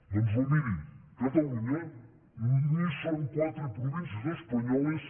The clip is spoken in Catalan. doncs no miri catalunya ni són quatre províncies espanyoles